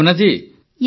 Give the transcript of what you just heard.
Bhavna yes sir